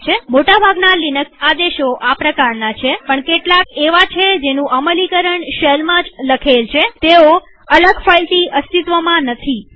મોટા ભાગના લિનક્સ આદેશો આ પ્રકારના છેપણ કેટલાક એવા છે જેનું અમલીકરણ શેલમાં જ લખેલ છેતેઓ અલગ ફાઈલથી અસ્તિત્વમાં નથી